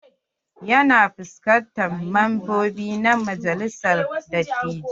Ya na fuskantar membobi na majalisar dattijai.